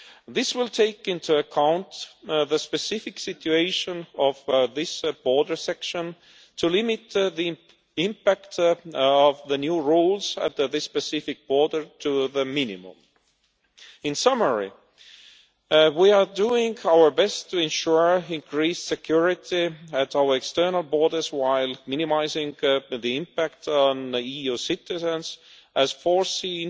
This will take into account the specific situation of this border section to limit the impact of the new rules at this specific border to the minimum. To sum up, we are doing our best to ensure increased security at all external borders while minimising the impact on EU citizens, as foreseen